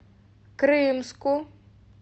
крымску